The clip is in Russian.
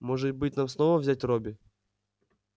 может быть нам снова взять робби